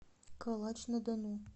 калач на дону